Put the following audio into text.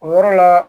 O yɔrɔ la